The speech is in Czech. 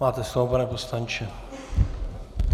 Máte slovo, pane poslanče.